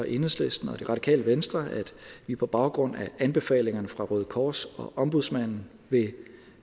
enhedslisten og det radikale venstre at vi på baggrund af anbefalingerne fra røde kors og ombudsmanden vil